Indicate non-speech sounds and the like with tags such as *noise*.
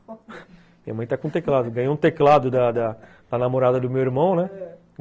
Minha *laughs* mãe está com teclado, ganhou um teclado da da namorada do meu irmão, né?